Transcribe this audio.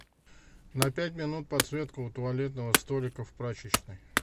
на пять минут подсветка у туалетного столика в прачечной